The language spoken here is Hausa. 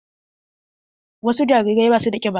Wasu jarirai ba su da ƙiba